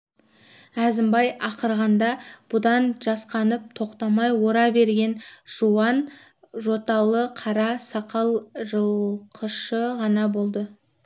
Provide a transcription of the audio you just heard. әзімбай ақырғанда бұдан жасқанып тоқтамай ора берген жуан жоталы қара сақал жылқышы ғана болды